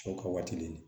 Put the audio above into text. Cɛw ka waati ni